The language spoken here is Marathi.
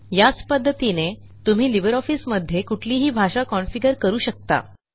याच पध्दतीने तुम्ही लिबर ऑफिस मध्ये कुठलीही भाषा कॉन्फिगर करू शकता